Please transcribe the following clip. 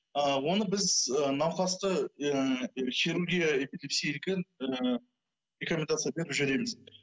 ы оны біз ы нуқасты ы хирургия эпилепсия деген рекомендация беріп жіберміз